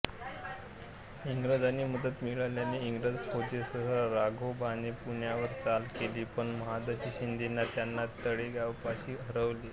इंग्रजांची मदत मिळाल्याने इंग्रज फौजेसह राघोबाने पुण्यावर चाल केली पण महादजी शिंद्याने त्यांना तळेगावपाशी हरवले